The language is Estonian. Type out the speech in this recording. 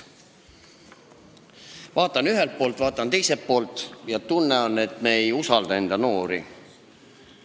Vaatan ühelt poolt, vaatan teiselt poolt ja on tunne, et me ei usalda enda noori.